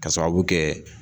Ka sababu kɛ